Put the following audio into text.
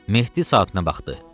Mehdi saata nə baxdı.